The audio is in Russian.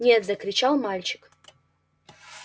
нет закричал мальчик